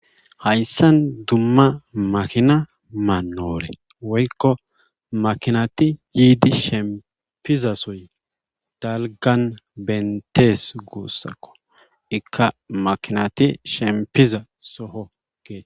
Hayssan dumma makinma mannoore woykko makinati yiidi shemppiza sooy dalggan bentteees guussako ikka makinati shemppiza soho geete.